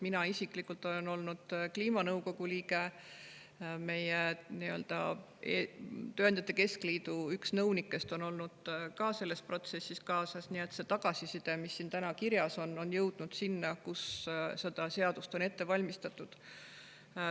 Mina isiklikult olen kliimanõukogu liige ja üks tööandjate keskliidu nõunikest on olnud ka selles protsessis kaasas, nii et see tagasiside, mis siin kirjas on, on jõudnud sinna, kus seda seadust on ette valmistatud.